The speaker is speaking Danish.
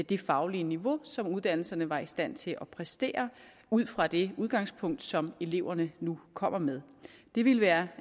det faglige niveau som uddannelserne var i stand til at præstere ud fra det udgangspunkt som eleverne nu kommer med det ville være